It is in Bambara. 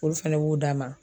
Olu fɛnɛ b'o d'a ma